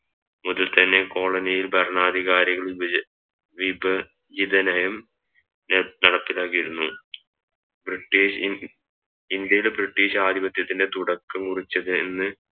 മുതൽ തന്നെ കോളനിയിൽ ഭരണാധികാരികൾ വിഭച വിഭചിത നയം ന നടപ്പിയിലാക്കിയിരുന്നു ബ്രിട്ടീഷ് ഇ ഇന്ത്യയുടെ ബ്രിട്ടീഷ് ആധിപത്യത്തിൻറെ തുടക്കം കുറിച്ചത് എന്ന്